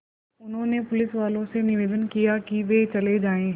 उन्होंने पुलिसवालों से निवेदन किया कि वे चले जाएँ